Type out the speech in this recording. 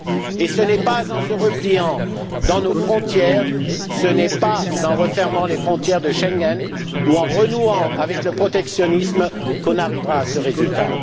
Et ce n'est pas en nous repliant dans nos frontières, ce n'est pas en refermant les frontières de Schengen ou en renouant avec le protectionnisme que nous arriverons à ce résultat.